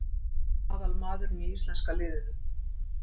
Hann er aðal maðurinn í íslenska liðinu.